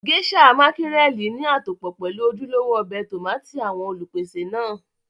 Geisha mákírẹ̀lì ní àtòpọ́ pelu ojúlówó ọbẹ̀ tómátì àwọn Olùpèsè náà